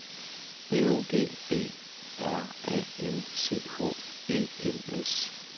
B O G B R A N C H E N S